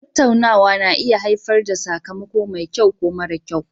Tattaunawa na iya haifar da sakamako mai kyau ko mara kyau